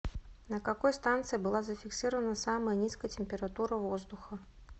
на какой станции была зафиксирована самая низкая температура воздуха